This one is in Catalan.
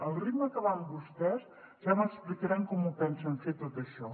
al ritme que van vostès ja m’explicaran com pensen fer tot això